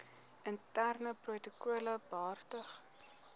interne protokolle behartig